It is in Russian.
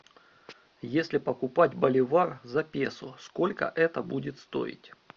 если покупать боливар за песо сколько это будет стоить